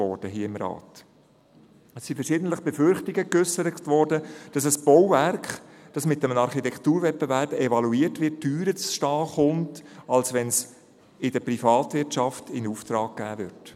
Es wurden verschiedentlich Befürchtungen geäussert, dass ein Bauwerk, das mit einem Architekturwettbewerb evaluiert wird, teurer zu stehen kommt, als wenn es in der Privatwirtschaft in Auftrag gegeben wird.